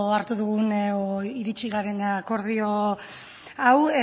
hartu dugun edo iritsi garen akordio hau